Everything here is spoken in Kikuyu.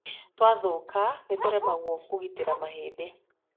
Twathũka nĩ tũremagwo kũgitĩra mahĩndĩ.